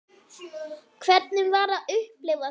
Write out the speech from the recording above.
Hvernig var að upplifa það?